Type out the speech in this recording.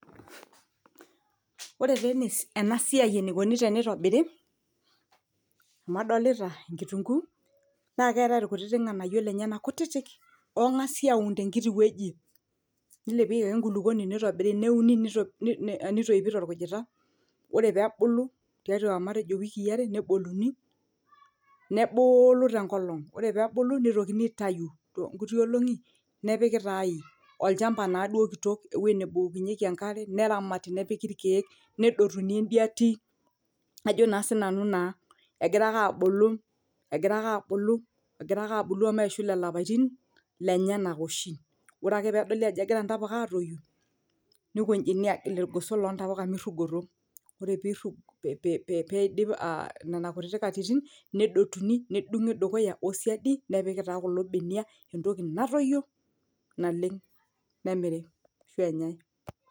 Ore taa enasiai eneikoni teneitobiri amu adolita kitunguu naa keetai ilkutiti ganayio lenyena kutiti ogasi auni tenkiyi wueji nilepieki ake enkulupuoni neitobiri neuni nitoipi tolkujita ore pee ebulu tiatua matejo iwikii are neboluni nebuulu tenkolong ore pee ebulu nitokini aitayuu too nkuti olongi nepiki taa aji ? Olchamba naduo kitok ewueji nebukokinyieki enkare neramati nepiki ilkiek nedotuni entiati Ajo naa sinanu naa egira ake aabulu omeishu lelo apaitin lenyenak oshi ore ake pee edoli aajo egira intapuka aaatoyu neikojini aagil ilgoso loo ntapuka meirugoto ore pee idip Nena kutiti atitim nedotuni nedungi dukuya o siadi nepiki taa kulo benia entoki natoyio naleng nemiri ashuu enyae.